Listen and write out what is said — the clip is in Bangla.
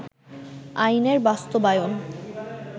আইনের বাস্তবায়ন